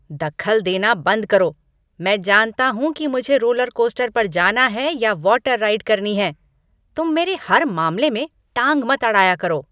दखल देना बंद करो, मैं जानता हूँ कि मुझे रोलरकोस्टर पर जाना है या वॉटर राइड करनी है। तुम मेरे हर मामले में टांग मत अड़ाया करो।